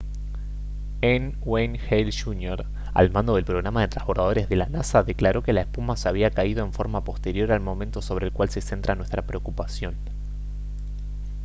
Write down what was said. n. wayne hale jr. al mando del programa de transbordadores de la nasa declaró que la espuma se había caído «en forma posterior al momento sobre el cual se centra nuestra preocupación»